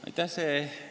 Aitäh!